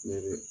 Ne bɛ